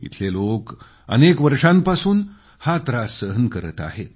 इथले लोक अनेक वर्षांपासून हा त्रास सहन करत आहेत